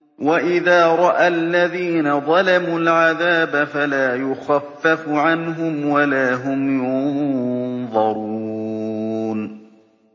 وَإِذَا رَأَى الَّذِينَ ظَلَمُوا الْعَذَابَ فَلَا يُخَفَّفُ عَنْهُمْ وَلَا هُمْ يُنظَرُونَ